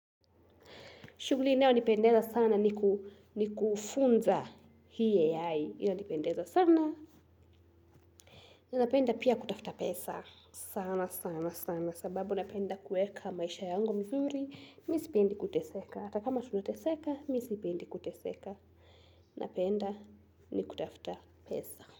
Shuguli inayo nipendeza sana ni kufunza hii AI. Inanipendeza sana. Ninapenda pia kutafta pesa. Sana sana sana. Sababu napenda kueka maisha yango mzuri. Mimi sipendi kuteseka. Atakama tunateseka, mimi sipendi kuteseka. Napenda ni kutafta pesa.